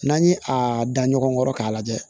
N'an ye a da ɲɔgɔn kɔrɔ k'a lajɛ